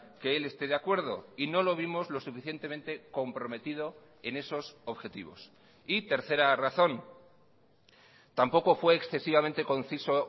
que él esté de acuerdo y no lo vimos lo suficientemente comprometido en esos objetivos y tercera razón tampoco fue excesivamente conciso